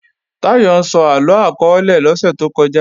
Táyọ̀ ń sọ àlọ akọọ́lẹ̀ lọ́sẹ̀ tó kọjá